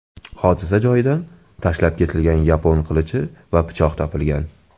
Hodisa joyidan tashlab ketilgan yapon qilichi va pichoq topilgan.